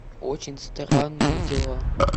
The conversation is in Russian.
очень странные дела